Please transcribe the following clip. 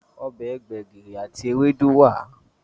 Obè gbegiri àti Ewédú wá.